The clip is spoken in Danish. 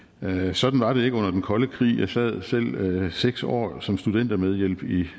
sådan var det ikke under den kolde krig jeg sad selv seks år som studentermedhjælp i